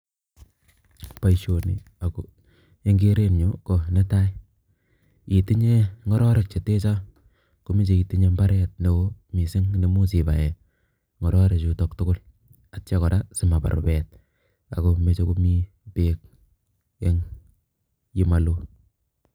Boisioni ako eng kerenyun ko netai, ye tinye ngororik che tee cho komeche itinye imbaaret neo mising nemuch ipae ngororik chutok tugul atyo kora simabaar rupet ako mechei komi beek eng olemalo.